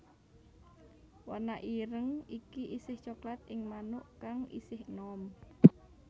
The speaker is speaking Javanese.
Warna ireng iki isih coklat ing manuk kang isih enom